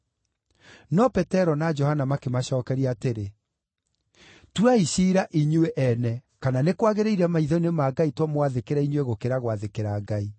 No Petero na Johana makĩmacookeria atĩrĩ, “Tuai ciira inyuĩ ene kana nĩ kwagĩrĩire maitho-inĩ ma Ngai tũmwathĩkĩre inyuĩ gũkĩra gwathĩkĩra Ngai.